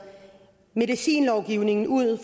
medicinlovgivningen ud af